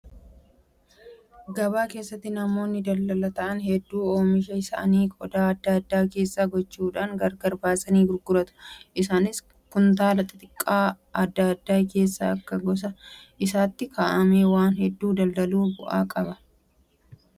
Gabaa keessatti namoonni daldalaa ta'an hedduun oomisha isaanii qodaa adda addaa keessa gochuudhaan gargar baasanii gurguratu. Isaanis kuntaala xixiqqoo adda addaa keessa akka gosa isaatti kaa'ama. Waan hedduu daldaluun bu'aa qabaa?